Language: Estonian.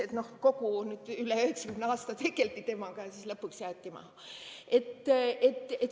Et üle 90 aasta tegeldi temaga ja siis lõpuks jäeti maha.